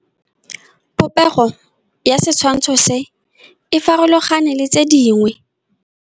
Popêgo ya setshwantshô se, e farologane le tse dingwe.